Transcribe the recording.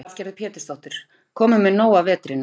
Lillý Valgerður Pétursdóttir: Kominn með nóg af vetrinum?